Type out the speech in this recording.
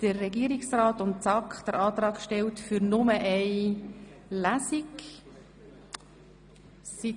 Der Regierungsrat und die SAK haben den Antrag gestellt, nur eine Lesung durchzuführen.